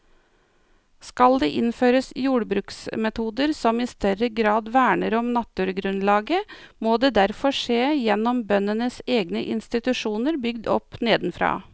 Skal det innføres jordbruksmetoder som i større grad verner om naturgrunnlaget, må det derfor skje gjennom bøndenes egne institusjoner bygd opp nedenfra.